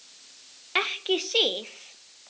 Ekki Sif.